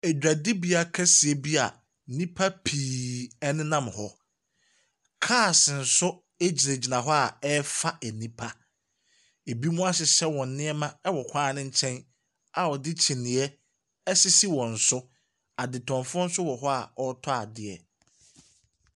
Edwadibea kɛseɛ bia nnipa pii ɛnenam hɔ. Cars nso egyinagyina hɔ a ɛrefa nnipa. Ebi mo ahyehyɛ wɔn nnoɔma ɛwɔ kwan no nkyɛn a wɔde kyiniiɛ ɛsisi wɔn so. Adetɔnfoɔ ɛnso wɔ hɔ a ɔɔtɔ adeɛ.